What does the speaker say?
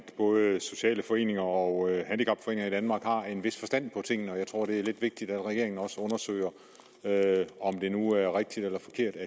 både sociale foreninger og handicapforeninger i danmark har en vis forstand på tingene og jeg tror det er lidt vigtigt at regeringen også undersøger om det nu er rigtigt eller forkert at